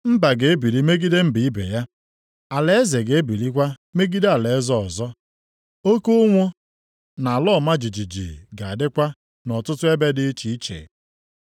Mba ga-ebili megide mba ibe ya, alaeze ga-ebilikwa megide alaeze ọzọ; oke ụnwụ, + 24:7 Oke ụnwụ oke ụnwụ na-eweta ụkọ nri na nrịa nrịa dị iche iche. na ala ọma jijiji ga-adịkwa nʼọtụtụ ebe dị iche iche.